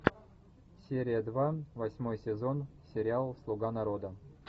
серия два восьмой сезон сериал слуга народа